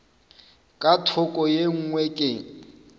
ka thoko ye nngwe ke